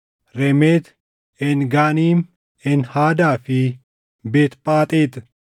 Remeet, Een Ganiim, Een Hadaa fi Beet Phaxeex.